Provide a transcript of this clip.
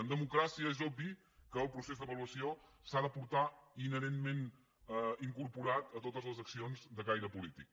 en democràcia és obvi que el procés d’avaluació s’ha de portar inherentment incorporat a totes les accions de caire polític